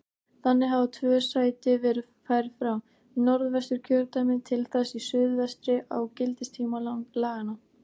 Þannig hafa tvö sæti verið færð frá Norðvesturkjördæmi til þess í suðvestri á gildistíma laganna.